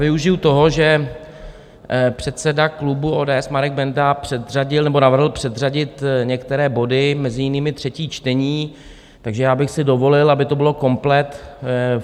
Využiji toho, že předseda klubu ODS Marek Benda předřadil nebo navrhl předřadit některé body, mezi jinými třetí čtení, takže já bych si dovolil, aby to bylo komplet.